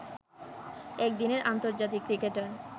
একদিনের আন্তর্জাতিক ক্রিকেটার